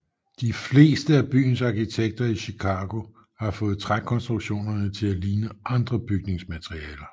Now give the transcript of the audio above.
De fleste af byens arkitekter i Chicago havde fået trækonstruktionerne til at ligne andre bygningsmaterialer